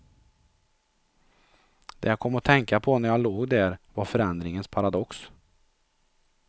Det jag kom att tänka på när jag låg där, var förändringens paradox.